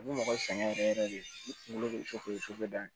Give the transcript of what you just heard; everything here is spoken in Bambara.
A bɛ mɔgɔ sɛgɛn yɛrɛ yɛrɛ de kunkolo bɛ fɛ o ye dan ye